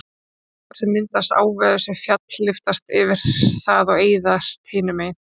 dropar sem myndast áveðurs við fjall lyftast yfir það og eyðast hinu megin